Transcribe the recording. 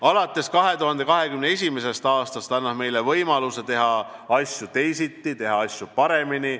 Aasta 2021 annab meile võimaluse teha asju teisiti, teha asju paremini.